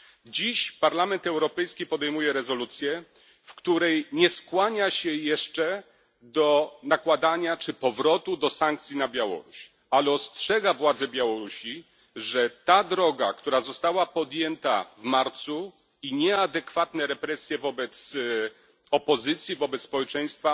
Dziś Parlament Europejski podejmuje rezolucję, w której nie skłania się jeszcze do nakładania czy powrotu do sankcji na Białoruś, ale ostrzega władze Białorusi, że ta droga, która została podjęta w marcu, i nieadekwatne represje wobec opozycji, wobec społeczeństwa